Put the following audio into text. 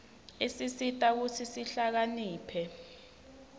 isisita kutsi sihlakaniphe